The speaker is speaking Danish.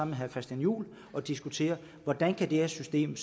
med herre christian juhl og diskutere hvordan det her system